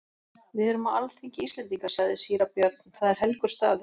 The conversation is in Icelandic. Við erum á alþingi Íslendinga, sagði síra Björn,-það er helgur staður.